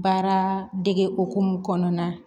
Baara dege hokumu kɔnɔna na